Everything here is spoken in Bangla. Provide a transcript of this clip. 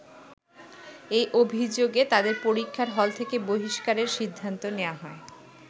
এ অভিযোগে তাদের পরীক্ষার হল থেকে বহিষ্কারের সিদ্ধান্ত নেয়া হয়।